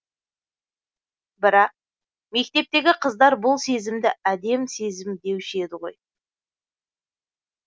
бірақ мектептегі қыздар бұл сезімді әдем сезім деуші еді ғой